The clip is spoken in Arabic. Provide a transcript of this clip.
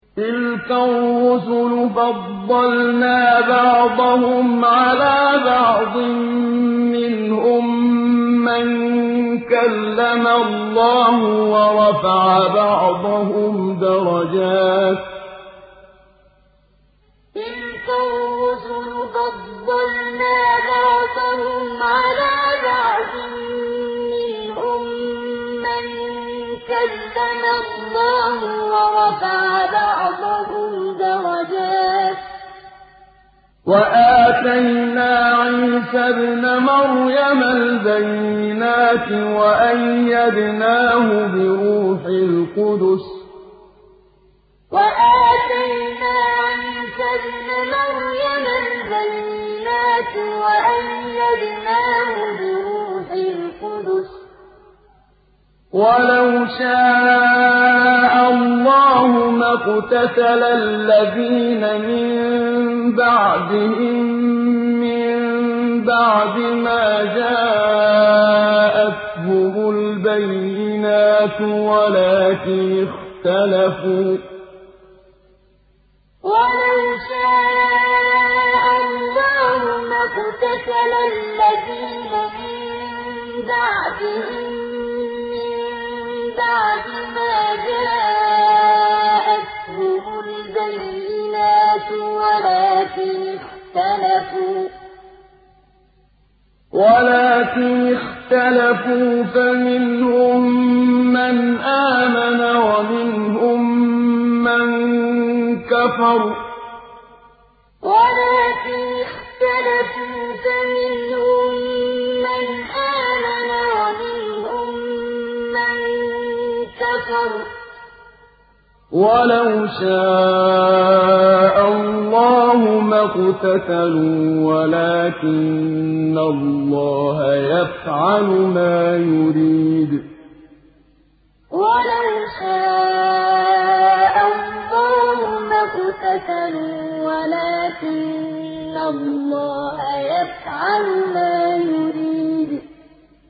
۞ تِلْكَ الرُّسُلُ فَضَّلْنَا بَعْضَهُمْ عَلَىٰ بَعْضٍ ۘ مِّنْهُم مَّن كَلَّمَ اللَّهُ ۖ وَرَفَعَ بَعْضَهُمْ دَرَجَاتٍ ۚ وَآتَيْنَا عِيسَى ابْنَ مَرْيَمَ الْبَيِّنَاتِ وَأَيَّدْنَاهُ بِرُوحِ الْقُدُسِ ۗ وَلَوْ شَاءَ اللَّهُ مَا اقْتَتَلَ الَّذِينَ مِن بَعْدِهِم مِّن بَعْدِ مَا جَاءَتْهُمُ الْبَيِّنَاتُ وَلَٰكِنِ اخْتَلَفُوا فَمِنْهُم مَّنْ آمَنَ وَمِنْهُم مَّن كَفَرَ ۚ وَلَوْ شَاءَ اللَّهُ مَا اقْتَتَلُوا وَلَٰكِنَّ اللَّهَ يَفْعَلُ مَا يُرِيدُ ۞ تِلْكَ الرُّسُلُ فَضَّلْنَا بَعْضَهُمْ عَلَىٰ بَعْضٍ ۘ مِّنْهُم مَّن كَلَّمَ اللَّهُ ۖ وَرَفَعَ بَعْضَهُمْ دَرَجَاتٍ ۚ وَآتَيْنَا عِيسَى ابْنَ مَرْيَمَ الْبَيِّنَاتِ وَأَيَّدْنَاهُ بِرُوحِ الْقُدُسِ ۗ وَلَوْ شَاءَ اللَّهُ مَا اقْتَتَلَ الَّذِينَ مِن بَعْدِهِم مِّن بَعْدِ مَا جَاءَتْهُمُ الْبَيِّنَاتُ وَلَٰكِنِ اخْتَلَفُوا فَمِنْهُم مَّنْ آمَنَ وَمِنْهُم مَّن كَفَرَ ۚ وَلَوْ شَاءَ اللَّهُ مَا اقْتَتَلُوا وَلَٰكِنَّ اللَّهَ يَفْعَلُ مَا يُرِيدُ